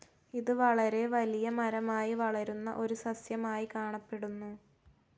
ഇത് വളരെ വലിയ മരമായി വളരുന്ന ഒരു സസ്യമായി കാണപ്പെടുന്നു.